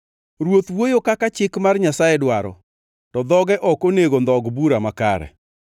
Ruoth wuoyo kaka chik mar Nyasaye dwaro, to dhoge ok onego ndhog bura makare.